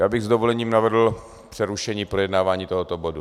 Já bych s dovolením navrhl přerušení projednávání tohoto bodu.